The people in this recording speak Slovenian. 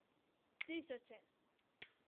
Tisoče!